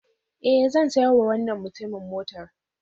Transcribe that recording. Eh, zan sayar wa wannan mutumin motar